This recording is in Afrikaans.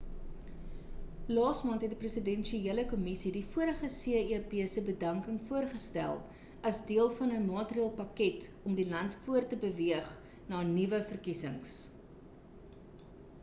laas maand het 'n presidensiële kommisie die vorige cep se bedanking voorgestel as deel van 'n maatreëlpakket om die land voort te beweeg na nuwe verkiesings